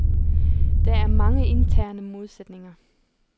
Der er mange interne modsætninger.